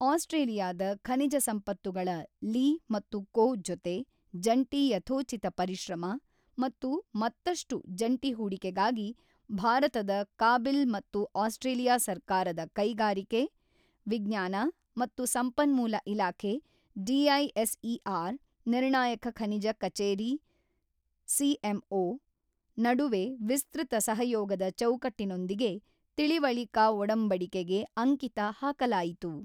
ಆಸ್ಟ್ರೇಲಿಯಾದ ಖನಿಜ ಸಂಪತ್ತುಗಳ ಲಿ ಮತ್ತು ಕೋ ಜೊತೆ ಜಂಟಿ ಯಥೋಚಿತ ಪರಿಶ್ರಮ ಮತ್ತು ಮತ್ತಷ್ಟು ಜಂಟಿ ಹೂಡಿಕೆಗಾಗಿ ಭಾರತದ ಕಾಬಿಲ್ ಮತ್ತು ಆಸ್ಟ್ರೇಲಿಯಾ ಸರ್ಕಾರದ ಕೈಗಾರಿಕೆ, ವಿಜ್ಞಾನ ಮತ್ತು ಸಂಪನ್ಮೂಲ ಇಲಾಖೆ ಡಿಐಎಸ್ಇಆರ್ ನಿರ್ಣಾಯಕ ಖನಿಜ ಕಚೇರಿ ಸಿಎಂಒ, ನಡುವೆ ವಿಸ್ತೃತ ಸಹಯೋಗದ ಚೌಕಟ್ಟಿನೊಂದಿಗೆ ತಿಳಿವಳಿಕಾ ಒಡಂಬಡಿಕೆಗೆ ಅಂಕಿತ ಹಾಕಲಾಯಿತು.